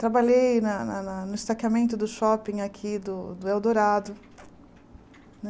Trabalhei na na na no estaqueamento do shopping aqui do do Eldorado.